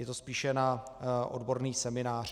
Je to spíše na odborný seminář.